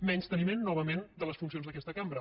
menysteniment novament de les funcions d’aquesta cambra